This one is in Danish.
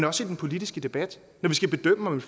også i den politiske debat når vi skal bedømme om